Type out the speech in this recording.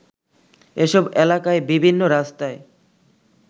এসব এলাকায় বিভিন্ন রাস্তায়